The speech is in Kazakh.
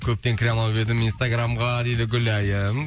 көптен кіре алмап едім инстаграмға дейді гүләйім